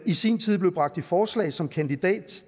i sin tid blev bragt i forslag som kandidat